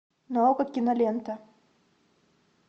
на окко кинолента